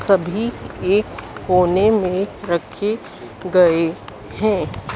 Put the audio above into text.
सभी एक कोने में रखे गए हैं।